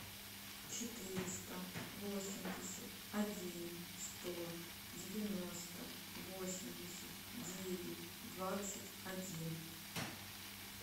четыреста восемьдесят один сто девяносто восемьдесят девять двадцать один